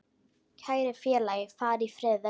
Kæri félagi, far í friði.